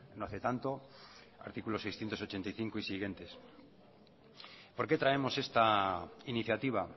no hace tanto artículo seiscientos ochenta y cinco y siguientes por qué traemos esta iniciativa